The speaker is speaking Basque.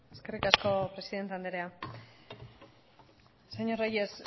eskerrik asko presidente andrea señor reyes